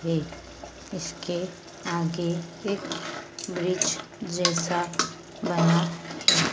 है इसके आगे एक वृक्ष जैसा बना--